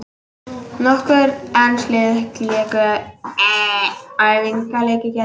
Nokkur ensk lið léku æfingaleiki í gær.